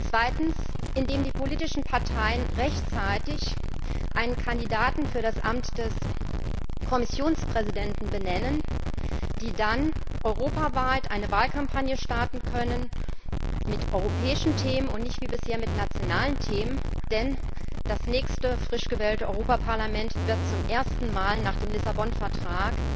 Zweitens, indem die politischen Parteien rechtzeitig einen Kandidaten für das Amt des Kommissionspräsidenten benennen, die dann europaweit eine Wahlkampagne starten kann mit europäischen Themen, und nicht wie bisher mit nationalen Themen, denn das nächste frisch gewählte Europaparlament wird zum ersten Mal nach dem Lissabon Vertrag